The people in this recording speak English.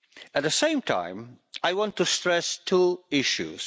At the same time, I want to stress two issues.